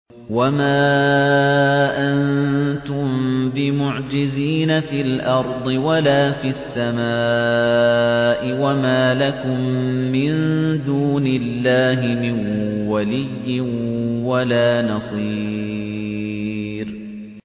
وَمَا أَنتُم بِمُعْجِزِينَ فِي الْأَرْضِ وَلَا فِي السَّمَاءِ ۖ وَمَا لَكُم مِّن دُونِ اللَّهِ مِن وَلِيٍّ وَلَا نَصِيرٍ